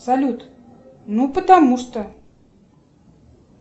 салют ну потому что